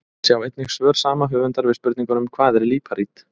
Sjá einnig svör sama höfundar við spurningunum: Hvað er líparít?